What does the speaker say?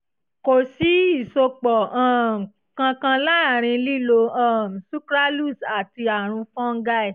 kò sí ìsopọ̀ um kankan láàárín lílo um sucralose àti àrùn fọ́nńgáì